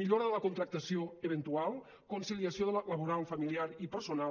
millora de la contractació eventual conciliació laboral familiar i personal